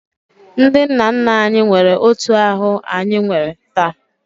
Ndị nna nna anyị nwere otu ahụ anyị nwee taa